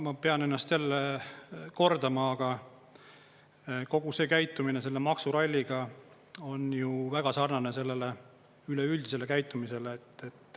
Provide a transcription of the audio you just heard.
Ma pean ennast kordama, aga kogu see käitumine selle maksuralliga on väga sarnane sellele üleüldisele käitumisele.